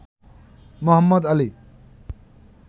Mohammad Ali